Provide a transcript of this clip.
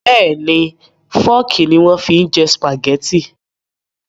Bẹ́ẹ̀ni Fọ́ọ́kì ni wọ́n fi ń jẹ Sùpàgẹ́tì